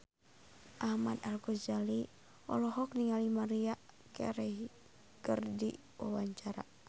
Ahmad Al-Ghazali olohok ningali Maria Carey keur diwawancara